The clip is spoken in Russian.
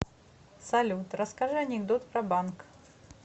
салют расскажи анекдот про банк